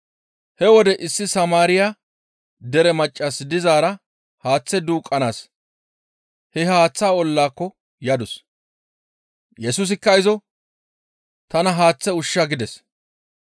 He wode issi Samaariya dere maccas dizaara haaththe duuqqanaas he haaththaa ollaako yadus. Yesusikka izo, «Tana haaththe ushsha» gides.